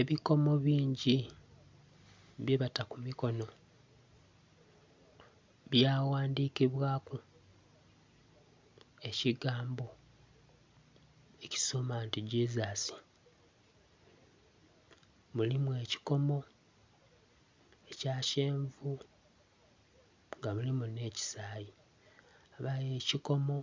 Ebikomo bingi byebata kumikonho byaghandhikibwaku ekigambo ekisoma nti Jesus, mulimu ekyikomo ekya kyenvu ngamulimu nhekyisai yabayo ekyikomo